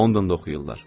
Londonda oxuyurlar.